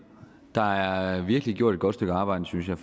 der er virkelig gjort et godt stykke arbejde synes jeg